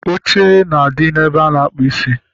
Oche na-adị ebe a na-akpụ isi